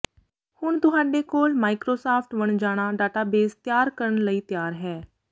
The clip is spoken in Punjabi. ਹੁਣ ਤੁਹਾਡੇ ਕੋਲ ਮਾਈਕ੍ਰੋਸਾਫਟ ਵਣਜਾਣਾ ਡਾਟਾਬੇਸ ਤਿਆਰ ਕਰਨ ਲਈ ਤਿਆਰ ਹੈ